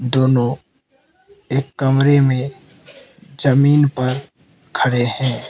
दोनो एक कमरे में जमीन पर खड़े हैं।